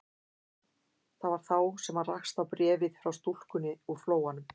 Það var þá sem hann rakst á bréfið frá stúlkunni úr Flóanum.